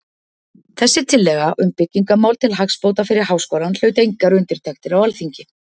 Þessi tillaga um byggingamál til hagsbóta fyrir Háskólann hlaut engar undirtektir á Alþingi.